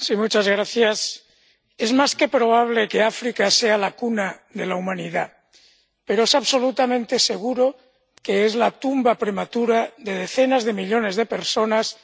Señor presidente, es más que probable que África sea la cuna de la humanidad, pero es absolutamente seguro que es la tumba prematura de decenas de millones de personas